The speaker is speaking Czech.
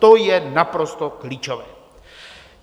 To je naprosto klíčové.